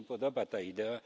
Mnie się podoba ta idea.